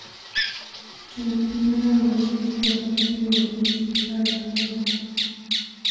Jatend piny oyango ni jotelo mapingo tije sirkal okia dongruok